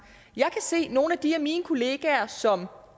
jeg kan se at nogle af de af mine kollegaer som